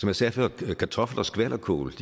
jeg sagde før blev kartofler og skvalderkål